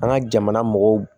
An ka jamana mɔgɔw